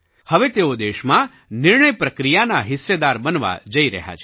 હવે તેઓ દેશમાં નિર્ણય પ્રક્રિયાનો હિસ્સેદાર બનવા જઈ રહ્યા છે